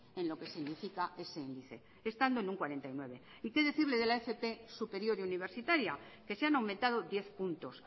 en lo que significa ese índice estando en un cuarenta y nueve por ciento y qué decirle de la fp superior y universitaria que se han aumentado diez puntos